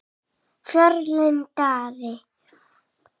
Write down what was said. Fjölnir Daði.